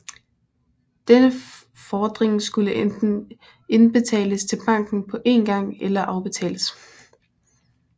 Denne fordring skulle enten indbetales til banken på én gang eller afbetales